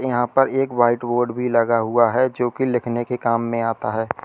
यहां पर एक व्हाइट बोर्ड भी लगा हुआ है जोकि लिखने के काम में आता है।